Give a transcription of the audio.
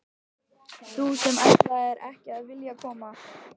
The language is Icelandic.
Þú sem ætlaðir ekki að vilja koma!